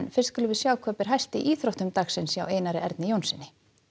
skulum við sjá hvað ber hæst í íþróttum dagsins hjá Einari Erni Jónssyni